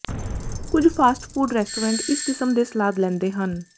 ਕੁਝ fast food restaurant ਇਸ ਕਿਸਮ ਦੇ ਸਲਾਦ ਲੈਂਦੇ ਹਨ